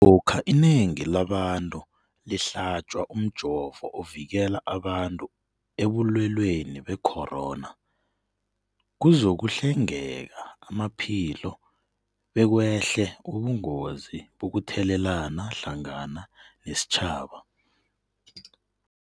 Lokha inengi labantu lihlatjwa umjovo ovikela abantu ebulweleni be-corona, kuzokuhlengeka amaphilo bekwehle ubungozi bokuthelelana hlangana nesitjhaba.